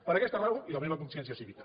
per aquesta raó i la meva consciència cívica